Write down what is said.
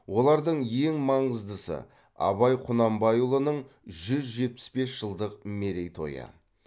олардың ең маңыздысы абай құнанбайұлының жүз жетпіс бес жылдық мерейтойы